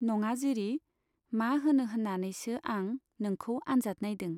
नङा जिरि, मा होनो होन्नानैसो आं नोंखौ आन्जाद नाइदों।